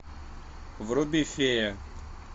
вруби фея